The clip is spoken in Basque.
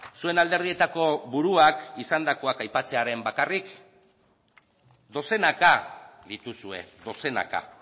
zuen alderdietako buruak izandakoak aipatzearren bakarrik dozenaka dituzue dozenaka